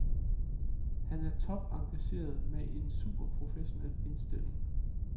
Han er topengageret med en superprofessionel indstilling.